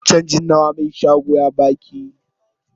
Canjin nawa mai shagon ya baki?